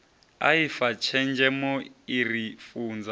aifa tshenzhemo i ri funza